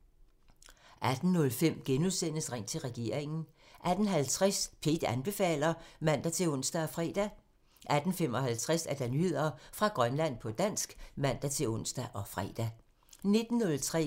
18:05: Ring til regeringen *(man) 18:50: P1 anbefaler (man-ons og fre) 18:55: Nyheder fra Grønland på dansk (man-ons og fre) 19:03: